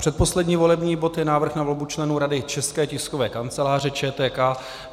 Předposlední volební bod je návrh na volbu členů Rady České tiskové kanceláře, ČTK.